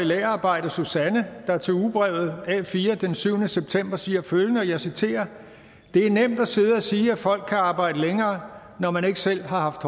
lagerarbejder susanne der til ugebrevet a4 den syvende september siger følgende og jeg citerer det er nemt at sidde og sige at folk kan arbejde længere når man ikke selv har